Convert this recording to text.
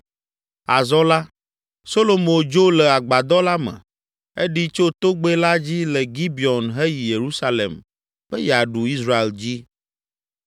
Azɔ la, Solomo dzo le agbadɔ la me, eɖi tso togbɛ la dzi le Gibeon heyi Yerusalem be yeaɖu Israel dzi.